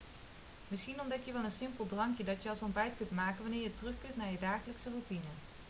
misschien ontdek je wel een simpel drankje dat je als ontbijt kunt maken wanneer je terugkeert naar je dagelijkse routine